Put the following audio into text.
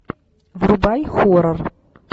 врубай хоррор